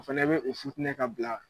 O fana bɛ o futinɛ ka bila.